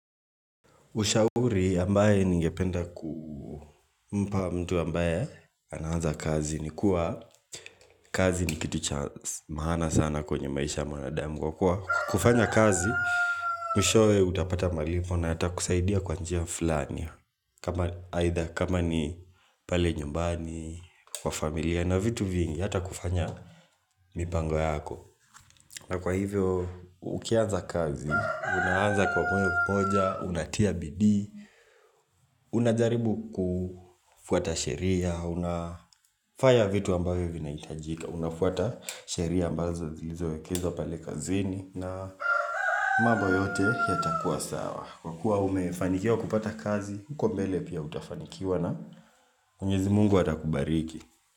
Ushauri ambaye ningependa kumpa mtu ambaye anaanza kazi ni kuwa kazi ni kitu cha maana sana kwenye maisha mwanadamu kwa kuwa kufanya kazi mwishoe utapata malipo na yata kusaidia kwa njia flani kama ni pale nyumbani kwa familia na vitu vingi yata kufanya mipango yako na kwa hivyo, ukianza kazi, unaanza kwa mwenye kumoja, unatia bidii unajaribu kufuata sheria, unafaya vitu ambavyo vinahitajika Unafuata sheria ambazo zilizowekezwa pale kazini na mambo yote yatakuwa sawa Kwa kuwa umefanikiawa kupata kazi, huko mbele pia utafanikiwa na mwenyezi mungu atakubariki.